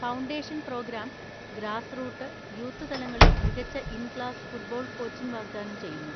Foundation programme grassroot, youth തലങ്ങളിൽ മികച്ച in class football coaching വാഗ്ദാനം ചെയ്യുന്നു.